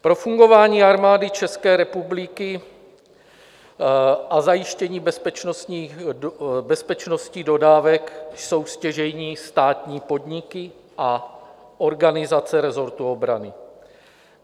Pro fungování Armády České republiky a zajištění bezpečnostních dodávek jsou stěžejní státní podniky a organizace resortu obrany.